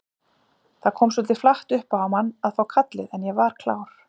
Það kom svolítið flatt upp á mann að fá kallið en ég var klár.